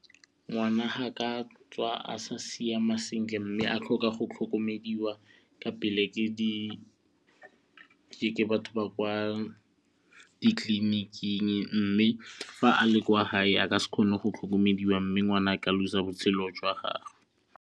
Ngwana ha ka tswa a sa siama sentle mme a tlhoka go tlhokomediwa ka pele ke di ke batho ba kwa ditleliniking mme fa a le kwa hae a ka se kgone go tlhokomelwa mme ngwana ka lose-a botshelo jwa gage.